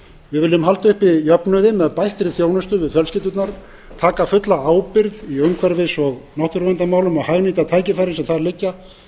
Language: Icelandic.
við viljum halda uppi jöfnuði með bættri þjónustu við fjölskyldurnar taka fulla ábyrgð í umhverfis og náttúruverndarmálum og hagnýta tækifærin sem þar liggja